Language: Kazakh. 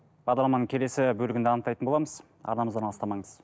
бағдарламаның келесі бөлігінде анықтайтын боламыз арнамыздан алыстамаңыз